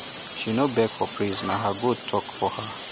she no beg for praise na her goats talk for her